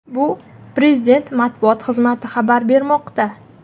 Bu Prezident matbuot xizmati xabar bermoqda .